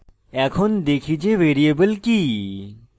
এখন দেখি যে ভ্যারিয়েবল কি